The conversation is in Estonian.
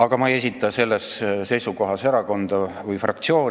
Aga ma ei esinda selles erakonda või fraktsiooni.